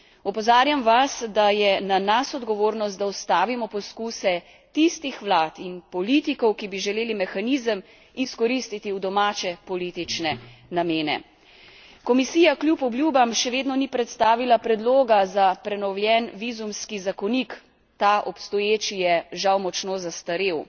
Opozarjam vas, da je na nas odgovornost, da ustavimo poskuse tistih vlad in politikov, ki bi želeli mehanizem izkoristiti v domače politične namene. Komisija kljub obljubam še vedno ni predstavila predloga za prenovljen vizumski zakonik, ta obstoječi je žal močno zastarel.